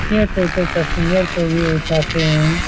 यह टोटो पैसेंजर को भी उठते है।